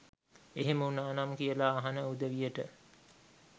එහෙම උනානම් කියලා අහන උදවියට